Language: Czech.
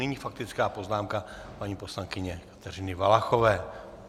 Nyní faktická poznámka paní poslankyně Kateřiny Valachové.